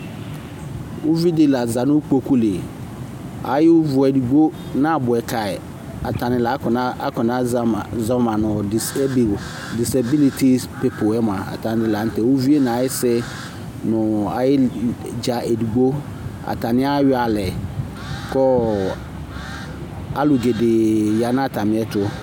Uvidi laza nikpokuli Ayʋvʋedigbo nabuɛ kayi Ɔtani lakɔna akɔna zɔma zɔma nʋ disebl disabilitis piployɛmua, atanilaŋtɛ, uvi nayisi Nʋ ayil' nedza edigbo atani' ayɔalɛ kɔɔ alʋgɛde ɣǝ nu atamiɛtʋ